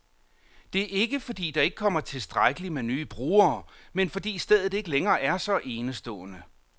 Det er ikke, fordi der ikke kommer tilstrækkeligt med nye brugere, men fordi stedet ikke længere er så enestående.